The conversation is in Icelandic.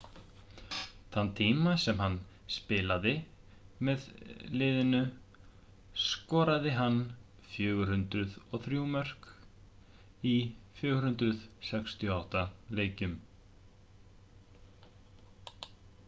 þann tíma sem hann spilaði með liðinu skoraði hann 403 mörk í 468 leikjum